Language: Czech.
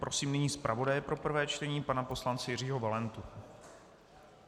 Prosím nyní zpravodaje pro prvé čtení pana poslance Jiřího Valentu.